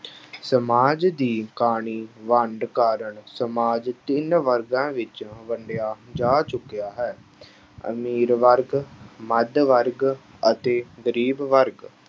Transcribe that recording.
ਸਮਾਜ ਦੀ ਕਾਣੀ ਵੰਡ ਕਾਰਨ ਸਮਾਜ ਤਿੰਨ ਵਰਗਾਂ ਵਿੱਚ ਵੰਡਿਆ ਜਾ ਚੁੱਕਿਆ ਹੈ ਅਮੀਰ ਵਰਗ, ਮੱਧ ਵਰਗ, ਅਤੇ ਗ਼ਰੀਬ ਵਰਗ।